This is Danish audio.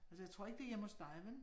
Altså jeg tror ikke det hjemme hos dig, vel